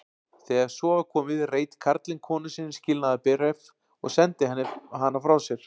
Þegar svo var komið reit karlinn konu sinni skilnaðarbréf og sendi hana frá sér.